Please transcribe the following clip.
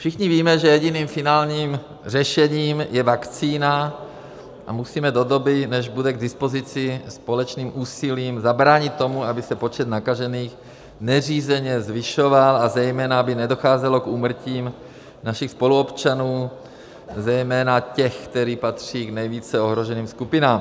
Všichni víme, že jediným finálním řešením je vakcína, a musíme do doby, než bude k dispozici, společným úsilím zabránit tomu, aby se počet nakažených neřízeně zvyšoval a zejména aby nedocházelo k úmrtím našich spoluobčanů, zejména těch, kteří patří k nejvíce ohroženým skupinám.